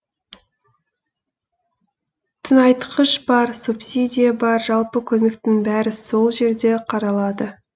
тыңайтқыш бар субсидия бар жалпы көмектің бәрі сол жерде қаралады